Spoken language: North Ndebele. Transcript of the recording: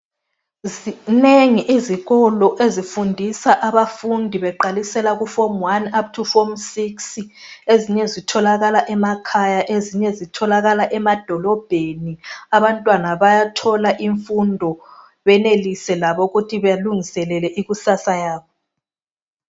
Zinengi izikolo ezifundisa abafundi beqalisela kuform one up to form six ezinye zitholakala emakhaya ezinye zitholakala emadolobheni. Abantwana bayathola imfundo benelise labo ukuthi belungiselele ikusasa yabo.